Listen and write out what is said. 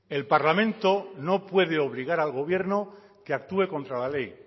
el parlamento no puede obligar al gobierno que actúe contra la ley